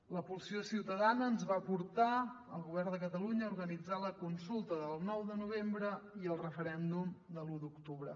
la pulsió ciutadana ens va portar al govern de catalunya a organitzar la consulta del nou de novembre i el referèndum de l’u d’octubre